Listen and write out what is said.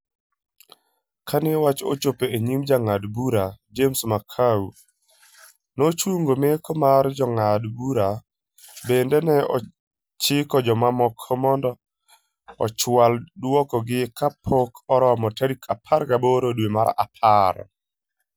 Kane wach ochopo e nyim jangad bura James Makau, nochungo meko mar jongad bura. Bende ne ochiko jomamoko mondo ochwalo duoko gi kapok oromo tarik 18 dwe mar apar.